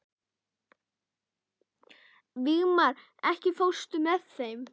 Vígmar, ekki fórstu með þeim?